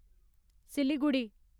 Siliguri